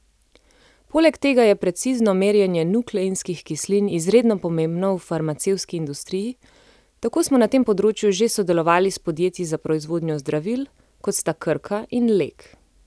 Poleg tega je precizno merjenje nukleinskih kislin izredno pomembno v farmacevtski industriji, tako smo na tem področju že sodelovali s podjetji za proizvodnjo zdravil, kot sta Krka in Lek.